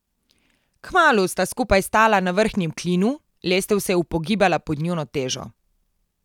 Kmalu sta skupaj stala na vrhnjem klinu, lestev se je upogibala pod njuno težo.